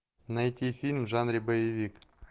найти фильм в жанре боевик